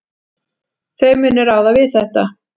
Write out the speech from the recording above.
Þau munu ráða við þetta.